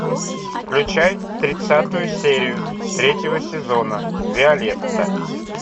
включай тридцатую серию третьего сезона виолетта